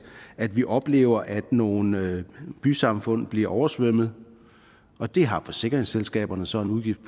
at vi oplever at nogle bysamfund bliver oversvømmet og det har forsikringsselskaberne så en udgift